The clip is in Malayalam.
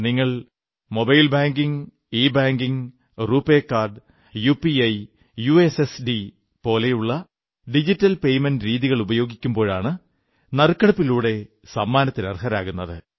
നിങ്ങൾ mobile banking e banking RuPay card UPI USSD പോലെയുള്ള ഡിജിറ്റൽ പേയ്മെന്റ് രീതികളുപയോഗിക്കുമ്പോഴാണ് നറുക്കെടുപ്പിലൂടെ സമ്മാനത്തിന് അർഹരാകുന്നത്